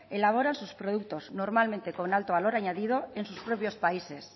elaboran sus productos normalmente con alto valor añadido en sus propios países